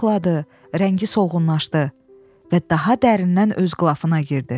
Arıqladı, rəngi solğunlaşdı və daha dərindən öz qılafına girdi.